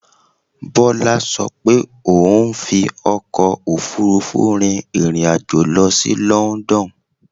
Bọ́lá ṣo pé òun rí fi ọkò òfurufú rin ìrìn àjò lọ sí London